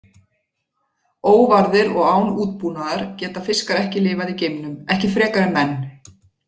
Óvarðir og án útbúnaðar geta fiskar ekki lifað í geimnum, ekki frekar en menn.